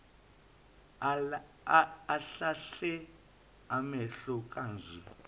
ahlahle amehlo manje